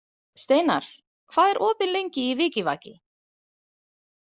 Steinar, hvað er opið lengi í Vikivaki?